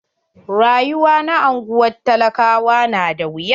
Rayuwa na anguwan talakawa na da wuya.